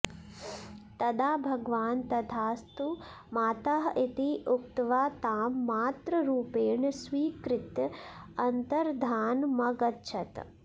तदा भगवान् तथास्तु मातः इति उक्त्वा तां मातृरूपेण स्वीकृत्य अन्तर्धानमगच्छत्